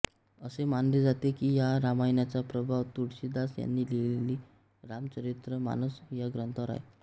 असे मानले जाते की ह्या रामायणाचा प्रभाव तुळशीदास यांनी लिहिलेल्या रामचरितमानस या ग्रंथावर आहे